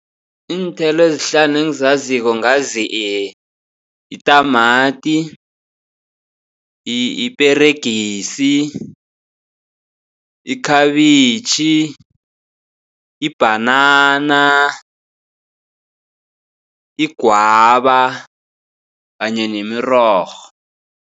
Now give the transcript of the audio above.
Iinthelo ezihlanu engizaziko ngazi itamati, iperegisi, ikhabitjhi, ibhanana, igwaba kanye nemirorho.